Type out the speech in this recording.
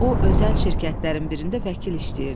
O özəl şirkətlərin birində vəkil işləyirdi.